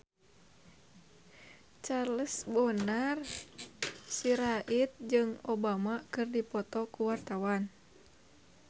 Charles Bonar Sirait jeung Obama keur dipoto ku wartawan